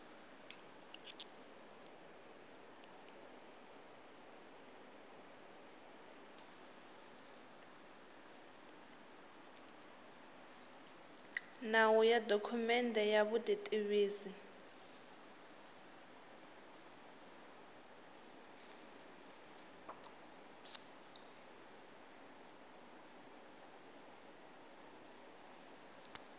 nawu ya dokumende ya vutitivisi